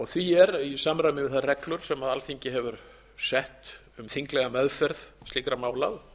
því er í samræmi við þær reglur sem alþingi hefur sett um þinglega meðferð slíkra mála